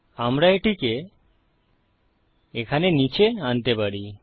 আমরা এটিকে এখানে নীচে আনতে পারি